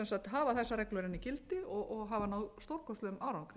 hafa þessar reglur enn í gildi og hafa náð stórkostlegum árangri